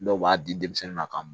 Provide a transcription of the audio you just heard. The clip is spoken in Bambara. Dɔw b'a di denmisɛnnin ma ka